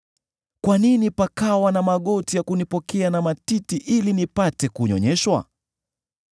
Kwa nini pakawa na magoti ya kunipokea na matiti ili nipate kunyonyeshwa?